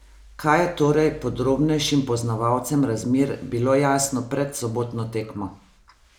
Kaj je torej podrobnejšim poznavalcem razmer bilo jasno pred sobotno tekmo?